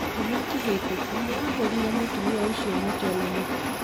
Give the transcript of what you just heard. Kiumia kĩhĩtũku, nĩ ahũũrire mũtumia ũcio mũtwe na mũtĩ.